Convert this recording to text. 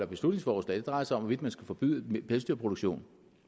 beslutningsforslag drejer sig om hvorvidt man skal forbyde pelsdyrproduktion